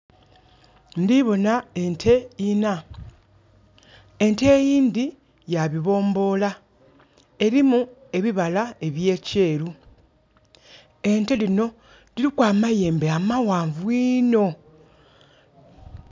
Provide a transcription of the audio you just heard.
Ndhibona ente inha, ente eyindhi ya bibomboola. Erimu ebibala by'ekyeru ente dhinho diriku amayembe amaghanvu inho.